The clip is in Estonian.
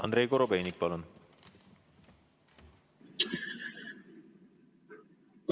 Andrei Korobeinik, palun!